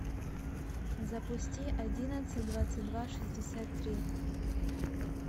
запусти одиннадцать двадцать два шестьдесят три